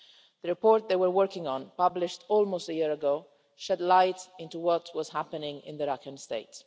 The report that they were working on, published almost a year ago, shed light on what was happening in Rakhine State.